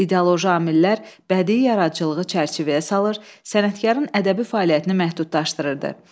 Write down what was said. İdeoloji amillər bədii yaradıcılığı çərçivəyə salır, sənətkarın ədəbi fəaliyyətini məhdudlaşdırırdı.